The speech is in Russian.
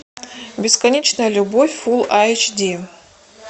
бесконечная любовь фул айч ди